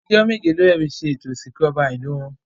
Ọjọ́ méje ló fẹ́ fi ṣe ètò Ìsìnkú ọba Ìlú wọn